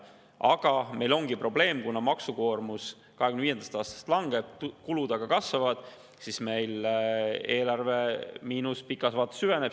Aga meil ongi probleem: kuna maksukoormus 2025. aastast langeb, kulud aga kasvavad, siis eelarve miinus pikas vaates süveneb.